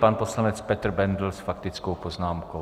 Pan poslanec Petr Bendl s faktickou poznámkou.